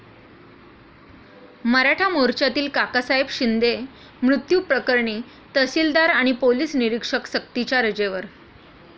मराठा मोर्चातील काकासाहेब शिंदे मृत्यू प्रकरणी तहसीलदार आणि पोलीस निरीक्षक सक्तीच्या रजेवर